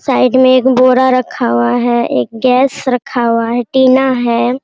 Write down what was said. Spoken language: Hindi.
साइड में एक बोरा रखा हुआ है एक गैस रखा हुआ है टीना है।